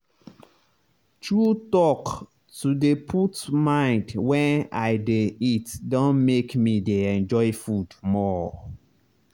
true talk to dey put mind wen i dey eat don make me dey enjoy food more.